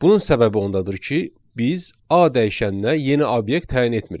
Bunun səbəbi ondadır ki, biz A dəyişəninə yeni obyekt təyin etmirik.